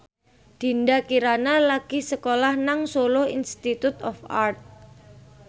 Dinda Kirana lagi sekolah nang Solo Institute of Art